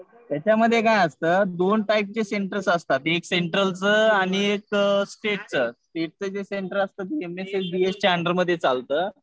त्याच्यामध्ये काय असतं, दोन टाईपचे सेंटर्स असतात. एक सेंट्रलचं आणि एक स्टेटचं. स्टेटचं जे सेंटर असतं ते च्या अंडर मध्ये चालतं.